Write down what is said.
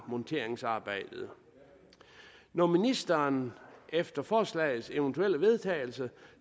monteringsarbejdet når ministeren efter forslagets eventuelle vedtagelse